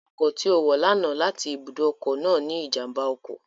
Ọkọ̀ tí ó wọ̀ lánàá láti ibùdó ọkọ̀ náà ní ìjàmbá ọkọ̀